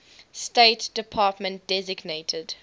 state department designated